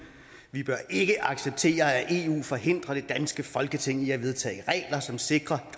vi bør ikke acceptere at eu forhindrer det danske folketing i at vedtage regler som sikrer